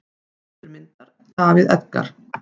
Höfundur myndar: David Edgar.